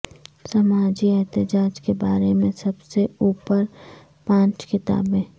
سماجی احتجاج کے بارے میں سب سے اوپر پانچ کتابیں